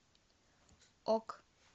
ок